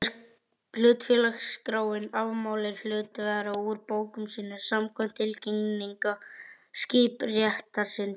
Hlutafélagaskráin afmáir hlutafélag úr bókum sínum samkvæmt tilkynningu skiptaréttarins.